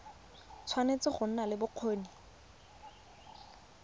tshwanetse go nna le bokgoni